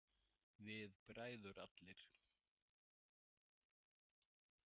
Við bræður allir.